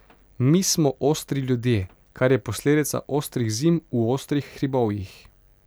Mi smo ostri ljudje, kar je posledica ostrih zim v ostrih hribovjih ...